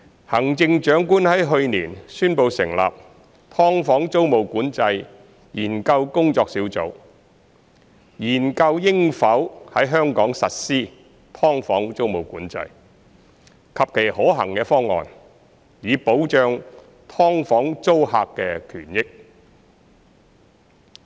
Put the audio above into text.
行政長官去年宣布成立"劏房"租務管制研究工作小組，研究應否在香港實施"劏房"租務管制及其可行方案，以保障"劏房"租客的權益。